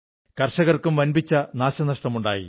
കർഷകർക്കും വമ്പിച്ച നഷ്ടങ്ങളുണ്ടായി